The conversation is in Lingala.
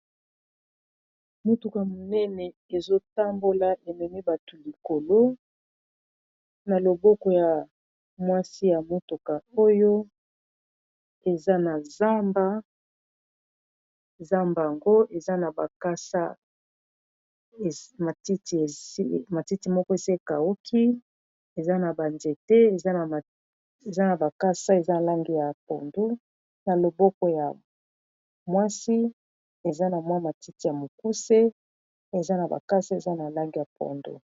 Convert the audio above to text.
Motuka monene ezotambola ememi bato likolo na loboko ya mwasi ya motuka oyo eza na zamba zamba ngo eza na bakasa matiti moko esi ekauki eza na ba nzete eza na bakasa eza na langi ya pondu na loboko ya mwasi eza na mwa matiti ya mokuse eza na bakasa eza na langi ya pondu.